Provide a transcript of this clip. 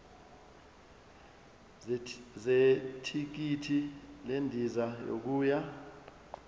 zethikithi lendiza yokuya